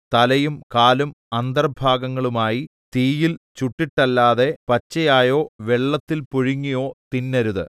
തലയും കാലും അന്തർഭാഗങ്ങളുമായി തീയിൽ ചുട്ടിട്ടല്ലാതെ പച്ചയായോ വെള്ളത്തിൽ പുഴുങ്ങിയോ തിന്നരുത്